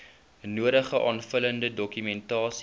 nodige aanvullende dokumentasie